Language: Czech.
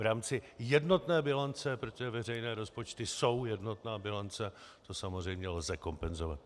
V rámci jednotné bilance, protože veřejné rozpočty jsou jednotná bilance, to samozřejmě lze kompenzovat.